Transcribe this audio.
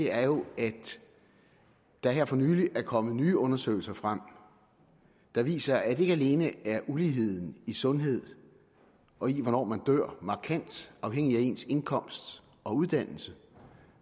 er jo at der her for nylig er kommet nye undersøgelser frem der viser at ikke alene er uligheden i sundhed og i hvornår man dør markant afhængig af ens indkomst og uddannelse